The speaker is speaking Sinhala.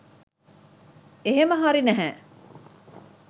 එහෙම හරි නැහැ